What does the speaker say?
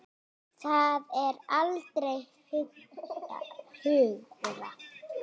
Það er allra hagur.